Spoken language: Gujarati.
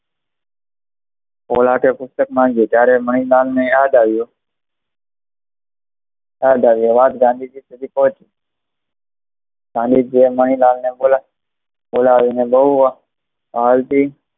ત્યારે તે પુસ્તક માંગી, ત્યારે તે મણિલાલ ને યાદ આવ્યુ, આ વાત ગાંધીજી સુધી પોચી ગાંધીજીએ મનીલાલ ને બોલાવી ને બહુ વાલ થી